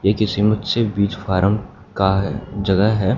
ये किसी बीज फारम का है जगह है।